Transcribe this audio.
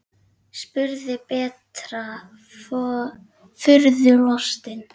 spurði Berta furðu lostin.